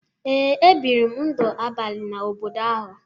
Ee, ebiri m ndụ abalị n’obodo ahụ